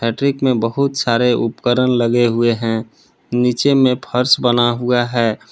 Rack में बहुत सारे उपकरण लगे हुए हैं नीचे में फर्श बना हुआ है।